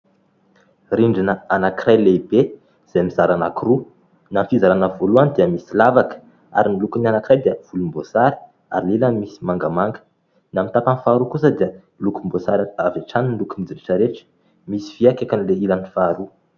Rindrina anankiray lehibe izay mizara anakiroa. Na ny fizarana voalohany dia misy lavaka, ary ny lokon'ny anankiray dia volom-boasary, ary ny ilany misy mangamanga ; na ny tapany faharoa kosa dia lokomboasary avy hatrany ny lokon'izy rehetra rehetra misy vy ny eo akaikin'ilay ilany faharoa.